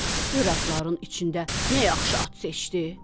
Gör atların içində nə yaxşı at seçdi?